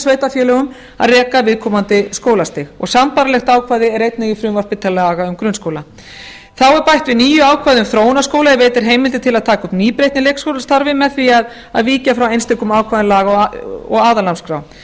sveitarfélögum að reka viðkomandi skólastig og sambærilegt ákvæði er einnig í frumvarpi til laga um grunnskóla þá er bætt við nýju ákvæði um þróunarskóla er veitir heimildir til að taka upp nýbreytni í leikskólastarfi með því að víkja frá einstökum ákvæðum laga og aðalnámskrár